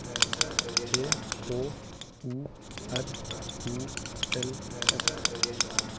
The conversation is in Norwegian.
T H O R O L F